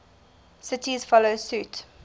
cities follow suit